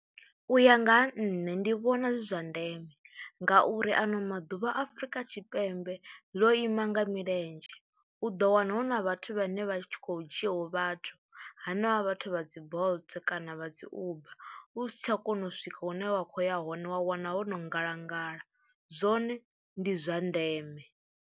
U ya nga ha nṋe ndi vhona zwi zwa ndeme ngauri ano maḓuvha Afrika Tshipembe ḽo ima nga milenzhe, u ḓo wana hu na vhathu vhane vha tshi khou dzhiaho vhathu, hanevha vhathu vha dzi Bolt kana vha dzi Uber u si tsha kona u swika hune wa khou ya hone wa wana wo no ngalangala, zwone ndi zwa ndeme.